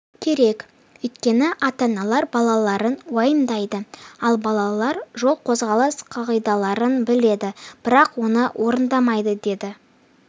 керек өйткені ата-аналар балаларын уайымдайды ал балалар жол қозғалыс қағидаларын біледі бірақ оны орындамайды деді